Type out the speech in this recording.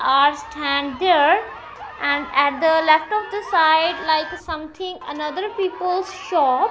are stand there and at the left of the side like a something another people shop.